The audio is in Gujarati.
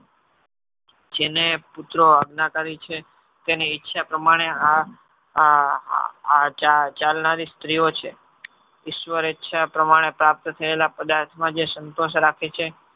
જેને પુત્રો અજ્ઞાના કરી છે તેની ઈચ્છા પ્રમાણે આ ચાલનારી સ્ત્રીઓ છે. ઈશ્વર ઈચ્છા પ્રમાણે પ્રાપ્ત થયેલા પદાર્થ નો જે સંતોષ રાખે છે.